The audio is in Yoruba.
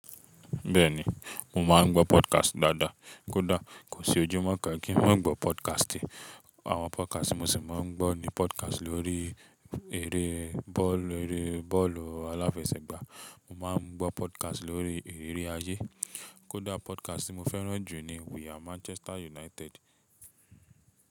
Bẹ́ẹ̀ni, mo máa ń gbọ́ podcast dáadáa. Kódà kò sí ojúmọ́ kan kí n má gbọ́ podcast. Àwọn podcast mo sì máa ń gbọ́ ni podcast lórí eré bọ́ọ̀lù eré bọ́ọ̀lù aláfẹsẹ̀gbá, mo máa ń gbọ́ podcast lórí iriri ayé. Kódà podcast tí mo fẹ́ràn jù ni We Are Manchester United.